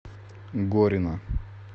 горина